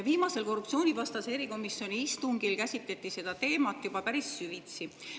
Viimasel korruptsioonivastase erikomisjoni istungil käsitleti seda teemat juba päris süvitsi.